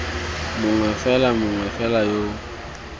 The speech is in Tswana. mongwe fela mongwe fela yo